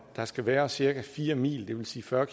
der skal være cirka fire mil det vil sige fyrre